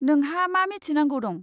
नोंहा मा मिथिनांगौ दं?